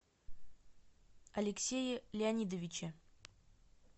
алексее леонидовиче